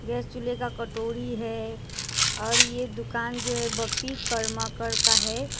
यह चूल्हे का कटोरी है और ये दुकान जो है बप्पी करमाकर का है।